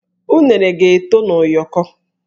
Unere ga-eto na ụyọkọ